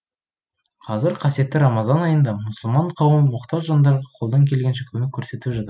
қазір қасиетті рамазан айында мұсылман қауымы мұқтаж жандарға қолдан келгенше көмек көрсетіп жатыр